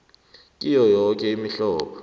kiyo yoke imihlobo